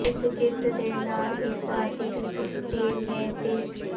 ਇਸ ਜਿੱਤ ਦੇ ਨਾਲ ਹੀ ਭਾਰਤੀ ਕ੍ਰਿਕਟ ਟੀਮ ਨੇ ਤਿੰ